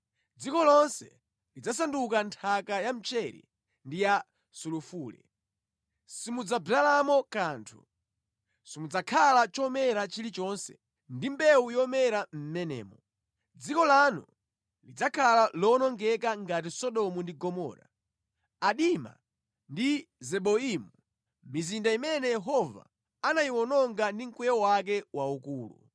Dziko lonse lidzasanduka nthaka ya mchere ndi ya sulufule. Simudzadzalamo kanthu, simudzakhala chomera chilichonse, ndi mbewu yomera mʼmenemo. Dziko lanu lidzakhala lowonongeka ngati Sodomu ndi Gomora, Adima ndi Zeboimu, mizinda imene Yehova anayiwononga ndi mkwiyo wake waukulu.